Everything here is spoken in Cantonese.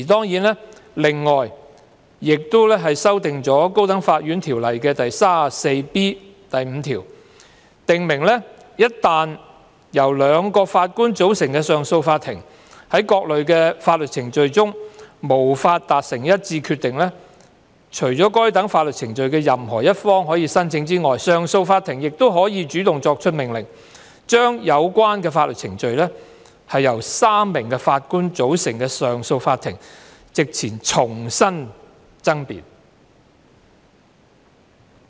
《條例草案》亦建議修訂《條例》第 34B5 條，以訂明一旦由2名法官組成的上訴法庭在各類法律程序中無法達成一致決定，除該等法律程序的任何一方可申請外，上訴法庭亦可主動作出命令，將有關法律程序在由3名法官組成的上訴法庭席前重新爭辯。